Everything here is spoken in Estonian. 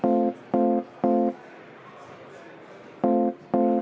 Aitäh!